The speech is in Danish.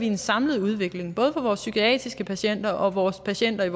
en samlet udvikling både for vores psykiatriske patienter og vores patienter i